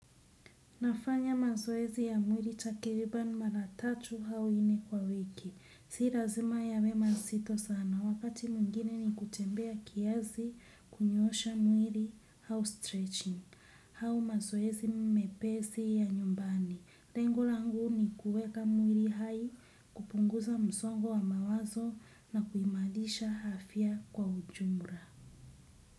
Nafanya mazoezi ya mwili takriban mara tatu au nne kwa wiki. Si lazima yawe mazito sana. Wakati mwingine ni kutembea kiasi, kunyoosha mwili au stretching. Au mazoezi mmepesi ya nyumbani. Lengo langu ni kuweka mwili hai, kupunguza msongo wa mawazo na kuimarisha afya kwa ujumla.